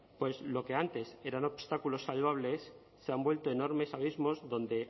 pues lo que antes eran obstáculos salvables se han vuelto a enormes abismos donde